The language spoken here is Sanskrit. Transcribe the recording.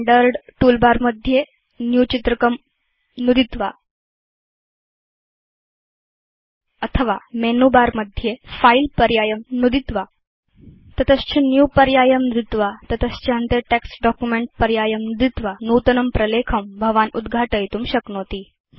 स्टैण्डर्ड् टूलबार मध्ये न्यू चित्रकं नुदित्वा अथवा मेनु बर मध्ये फिले पर्यायं नुदित्वा तत च Newपर्यायं नुदित्वा ततश्च अन्ते टेक्स्ट् डॉक्युमेंट पर्यायं नुदित्वा नूतनं प्रलेखं भवान् उद्घाटयितुं शक्नोति